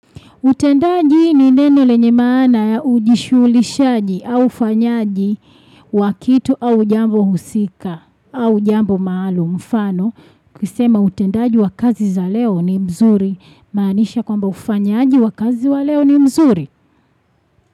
Utendaji ni neno lenye maana ya ujishuluhishaji au ufanyaji wa kitu au jambo husika au jambo malo mfano. Kisema utendaji wa kazi za leo ni mzuri maanisha kwamba ufanyaji wa kazi wa leo ni mzuri.